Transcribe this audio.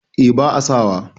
eh ba a sawa